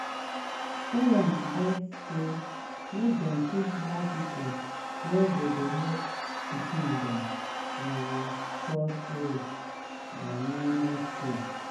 parents beg say make dem put more people wey go dey help pikins them um cross road um near near school.